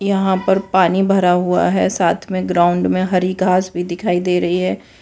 यहां पर पानी भरा हुआ है साथ में ग्राउंड में हरी घास भी दिखाई दे रही है।